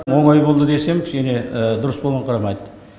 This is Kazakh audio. оңай болды десем кішкене дұрыс болынқырамайды